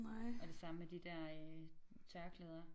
Og det samme med de der øh tørklæder